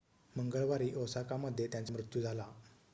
मंगळवारी ओसाकामध्ये त्यांचा मृत्यू झाला